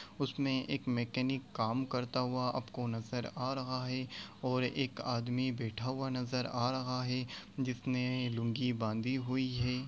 उसमे एक मैकेनिक काम करता हुआ आपको नज़र आ रहा है और एक आदमी बैठा हुआ नज़र आ रहा है जिसने लूंगी बांधी हुई हे ।